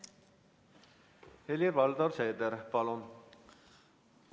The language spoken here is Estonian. Helir-Valdor Seeder, palun!